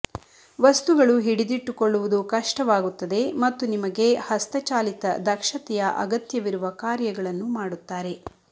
ವಸ್ತುಗಳು ಹಿಡಿದಿಟ್ಟುಕೊಳ್ಳುವುದು ಕಷ್ಟವಾಗುತ್ತದೆ ಮತ್ತು ನಿಮಗೆ ಹಸ್ತಚಾಲಿತ ದಕ್ಷತೆಯ ಅಗತ್ಯವಿರುವ ಕಾರ್ಯಗಳನ್ನು ಮಾಡುತ್ತಾರೆ